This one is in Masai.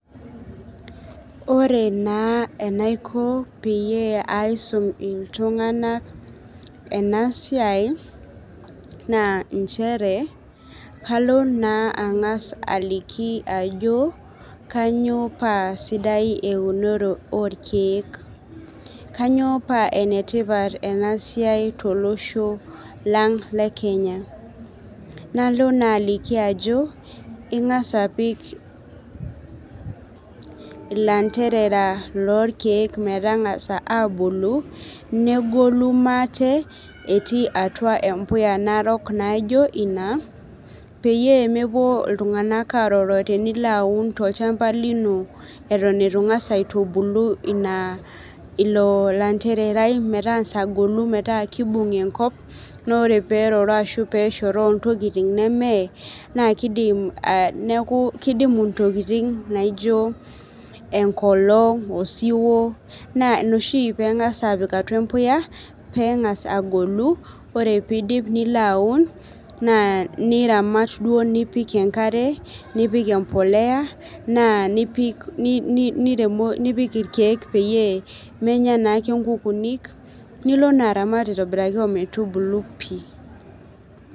Ore naa enaiko peyie aisum iltung'anak ena siai naa inchere kalo naa ang'as aliki ajo kanyio paa sidai eunore orkeek kanyio paa enetipat ena siai tolosho lang le kenya nalo naa aliki ajo ing'as apik ilanterara lorkeek metang'asa abulu negolu maate etii atua empuya narok naijo ina peyie mepuo iltung'anak aroro tenilo aun tolchamba lino eton etu ing'as aitubulu ina ilo lanterarai metang'asa agolu metaa kibung enkop naa ore peroro ashu peshoroo intoking nemeye naa kidim neeku kidimu intokiting naijo enkolong osiwuo naa ina oshi peng'as apik atua peng'as agolu ore piidip nilo aun naa niramat duo nipik enkare nipik empoleya naa nipik ni niremo nipik irkeek peyie menya naake inkukunik nilo naa aramat aitobiraki ometubulu pii.